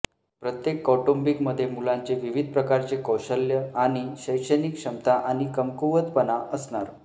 प्रत्येक कौटुंबिकमध्ये मुलांचे विविध प्रकारचे कौशल्य आणि शैक्षणिक क्षमता आणि कमकुवतपणा असणार